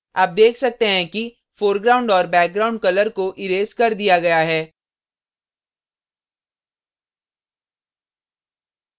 आप देख सकते हैं कि foreground और background colour को इरेज कर दिया गया है